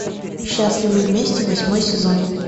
счастливы вместе восьмой сезон